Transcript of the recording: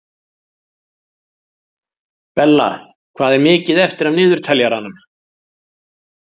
Bella, hvað er mikið eftir af niðurteljaranum?